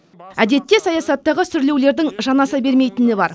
әдетте саясаттағы сүрлеулердің жанаса бермейтіні бар